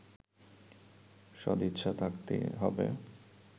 সদিচ্ছা থাকতে হবে